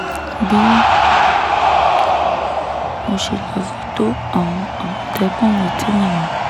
bí mo ṣe lọ́ọ́ fi tó àwọn àmọ̀tẹ́kùn létí nìyẹn